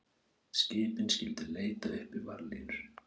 Skipin skyldu leita uppi varðlínur